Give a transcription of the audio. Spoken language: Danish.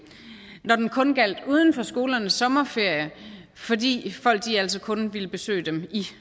når den kun gjaldt uden for skolernes sommerferie fordi folk altså kun ville besøge dem i